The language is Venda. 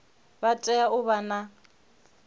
vha tea u vha na